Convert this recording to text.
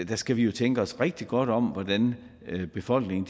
der skal vi jo tænke os rigtig godt om hvordan befolkningen